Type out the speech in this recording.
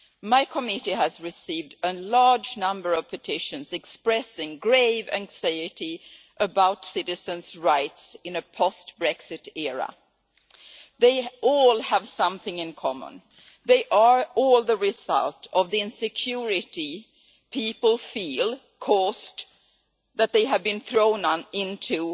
My committee has received a large number of petitions expressing grave anxiety about citizens' rights in a post Brexit era. They all have something in common they are all the result of the insecurity people feel that they have been thrown into